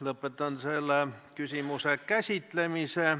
Lõpetan selle küsimuse käsitlemise.